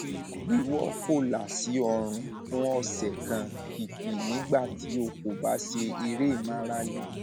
wíwọ kólà sí ọrùn fún ọsẹ kan kìkì nígbà tí o kò bá ṣe eré ìmárale